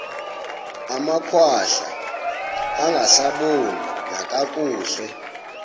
amakhwahla angasaboni nakakuhle